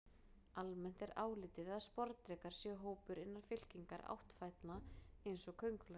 Almennt er álitið að sporðdrekar séu hópur innan fylkingar áttfætlna eins og köngulær.